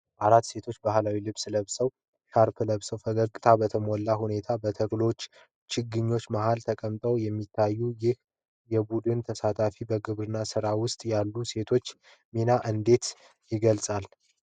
አራት ሴቶች ባህላዊ ልብሶችንና ሻርፕ ለብሰው፣ ፈገግታ በተሞላበት ሁኔታ በተክሎች ችግኞች መሃል ተቀምጠው የሚታዩት፣ ይህ የቡድን ተሳትፎ በግብርና ሥራ ውስጥ ያለውን የሴቶችን ሚና እንዴት ይገልጻል?